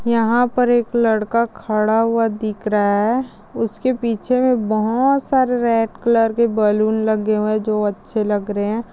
यहाँ पर एक लड़का खड़ा हुआ दिख रहा है उसके पीछे बहुत सारे रेड कलर के बलून लगे हुए जो अच्छे लग रहे है।